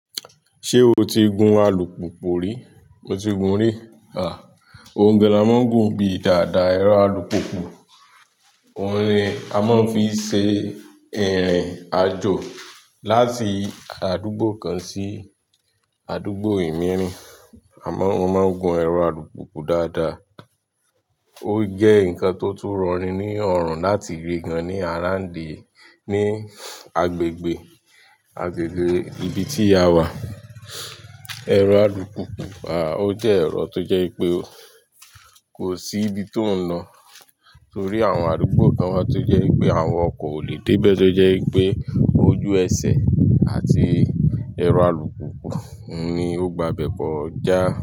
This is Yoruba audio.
Ṣé o ti gun alùpùpù rí? Mo ti gun rí. Óuń gàn la má ń gun bí yi dàda ẹrọ alùpùpù. Óun ni a máa ń fi ṣe ìrìn àjò láti àdúgbò kan sí àdúgbò e mìíràn. À má ń, mo máa ń gun ẹrọ alùpùpù dáadáa. Ó jẹ́ ǹkan tó tún rọ ni ní ọ̀rùn láti rì gan-an ní àrándí ní agbègbè, agbègbè ibi tí a wà. Ẹ̀rọ alùpùpù, à ó jẹ́ ẹ̀rọ tó jẹ́ ipé kò sí ibi tó ń na torí àwọn alùpùpù kan wá tó jẹ́ pé àwọn ọkọ̀ ò lè dé bẹ tó jẹ́ pé ojú ẹsẹ̀ àti ẹ̀rọ alùpùpù ni ó gba bẹ̀ kọ já.